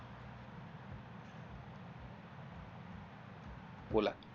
बोला